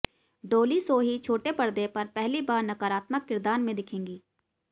डॉली सोही छोटे पर्दे पर पहली बार नकारात्मक किरदार में दिखेंगी